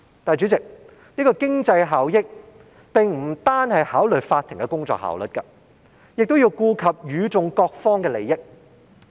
主席，經濟效益不單是考慮法庭的工作效率，亦要顧及與訟各方的利益。